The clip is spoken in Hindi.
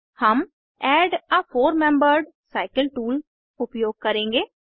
हम add a four membered cycle tool उपयोग करेंगे